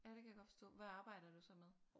Ja det kan jeg godt forstå. Hvad arbejder du så med?